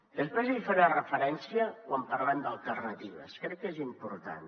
després hi faré referència quan parlem d’alternatives crec que és important